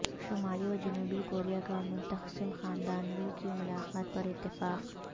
شمالی و جنوبی کوریا کا منقسم خاندانوں کی ملاقات پر اتفاق